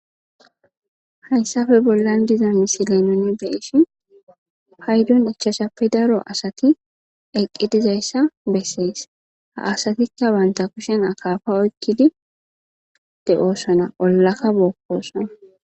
hayssafe bollan dizo misile nuni beishi haydun ichashappe daro asati eqqedizayssa bessees ha asatikka wanta kushen akafa oykkidi de7oossona ollakka bookkosona